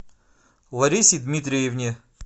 ларисе дмитриевне